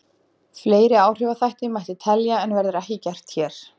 Fleiri áhrifaþætti mætti telja en verður ekki gert hér.